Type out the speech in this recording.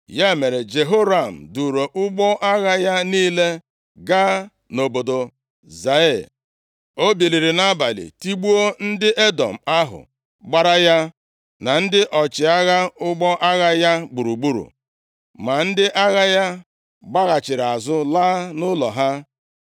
Ya mere, Jehoram + 8:21 Joram, nke a bụ ịkpọbiri aha a na nkenke duuru ụgbọ agha ya niile gaa nʼobodo Zaịa. O biliri nʼabalị tigbuo ndị Edọm ahụ gbara ya na ndị ọchịagha ụgbọ agha ya gburugburu; ma ndị agha ya gbaghachiri azụ, laa nʼụlọ ha.